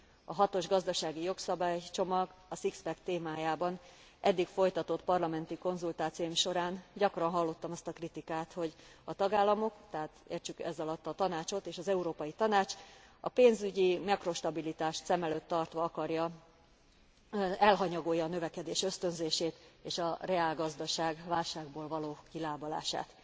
A hatos gazdasági jogszabálycsomag, a six pack témájában eddig folytatott parlamenti konzultációim során gyakran hallottam azt a kritikát, hogy a tagállamok, tehát értsük ez alatt a Tanácsot, és az Európai Tanács a pénzügyi makrostabilitást szem előtt tartva elhanyagolja a növekedés ösztönzését és a reálgazdaság válságból való kilábalását.